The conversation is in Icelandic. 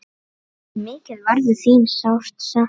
Mikið verður þín sárt saknað.